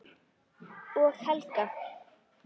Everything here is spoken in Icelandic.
Og Helga.